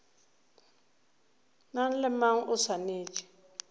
mang le mang o swanetše